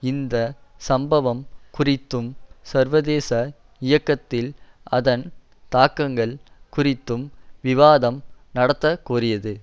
இந்த சம்பவம் குறித்தும் சர்வதேச இயக்கத்தில் அதன் தாக்கங்கள் குறித்தும் விவாதம் நடத்தக்கோரியது